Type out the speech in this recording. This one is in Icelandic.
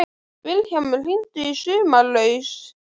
Vilhjálmur, hringdu í Sumarlausu.